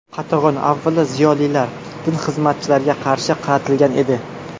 Qatag‘on, avvalo, ziyolilar, din xizmatchilariga qarshi qaratilgan edi.